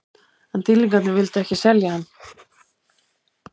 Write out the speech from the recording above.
En Dýrlingarnir vildu ekki selja hann.